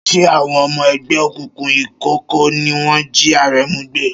Ṣé àwọn ọmọ ẹgbẹ́ òkùnkùn ìkọ̀kọ̀ ni wọ́n jí Aremu gbé?